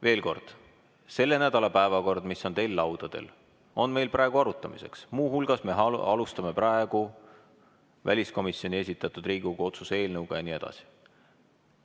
Veel kord: selle nädala päevakord, mis on teil laudadel, on meil praegu arutamiseks, muu hulgas me alustame praegu väliskomisjoni esitatud Riigikogu otsuse eelnõu jne.